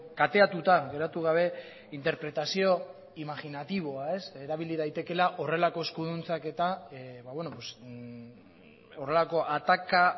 kateatuta geratu gabe interpretazio imaginatiboa erabili daitekeela horrelako eskuduntzak eta horrelako ataka